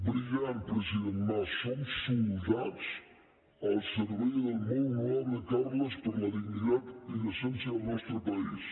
brillant president mas som soldats al servei del molt honorable carles per la dignitat i decència del nostre país